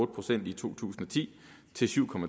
procent i to tusind og ti til syv